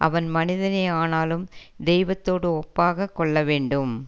அவன் மனிதனே ஆனாலும் தெய்வ தோடு ஒப்பாக கொள்ள வேண்டும்